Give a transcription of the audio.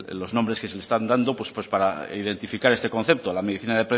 los nombres que se están dando pues para identificar este concepto la medicina